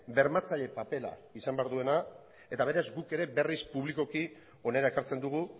bermatzaile papera izan behar duela eta beraz guk berriz publikoki hona ekartzen dugu